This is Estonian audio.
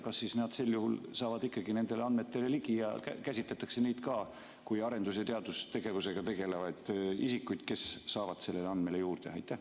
Kas nad sel juhul saavad ikkagi nendele andmetele ligi ja käsitletakse neid ka kui arendus- ja teadustegevusega tegelevaid isikuid, kes saavad nendele andmetele juurde?